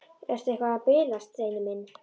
Ertu eitthvað að bilast, Steini minn?